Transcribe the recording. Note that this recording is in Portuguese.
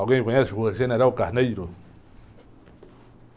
Alguém conhece a rua General Carneiro?